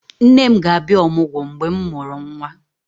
Nne m ga-abịa ọmụgwọ mgbe mụ mụrụ nwa